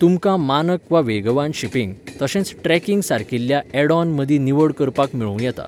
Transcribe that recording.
तुमकां मानक वा वेगवान शिपिंग, तशेंच ट्रॅकिंग सारकिल्या ऍड ऑन मदीं निवड करपाक मेळूं येता.